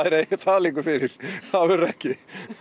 liggur fyrir það verður ekki